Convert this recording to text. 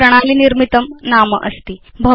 तद् प्रणाली निर्मितं नाम अस्ति